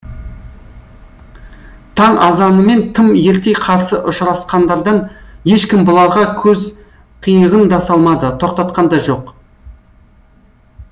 таң азанымен тым ерте қарсы ұшырасқандардан ешкім бұларға көз қиығын да салмады тоқтатқан да жоқ